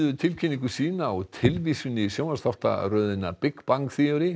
tilkynningu sína á tilvísun í sjónvarpsþáttaröðina Big Bang